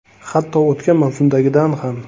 Hatto o‘tgan mavsumdagidan ham.